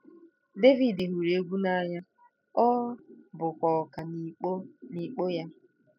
Devid hụrụ egwú n'anya, ọ bụkwa ọkà n'ịkpọ n'ịkpọ ya.